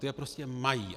Ty je prostě mají.